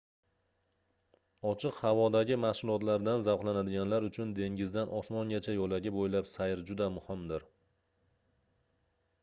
ochiq havodagi mashgʻulotlardan zavqlanadiganlar uchun dengizdan osmongacha yoʻlagi boʻylab sayr juda muhimdir